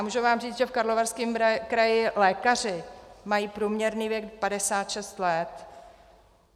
A můžu vám říct, že v Karlovarském kraji lékaři mají průměrný věk 56 let.